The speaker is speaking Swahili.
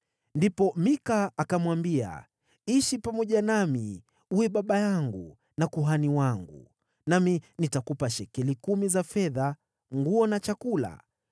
Ndipo Mika akamwambia, “Ishi pamoja nami, uwe baba yangu na kuhani wangu, nami nitakupa shekeli kumi za fedha, nguo na chakula.”